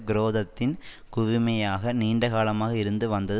குரோதத்தின் குவிமையமாக நீண்டகாலமாக இருந்து வந்தது